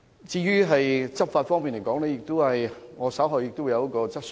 至於執法方面，我稍後會提出一項有關的質詢。